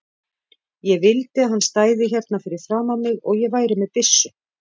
Ég vildi að hann stæði hérna fyrir framan mig og ég væri með byssu.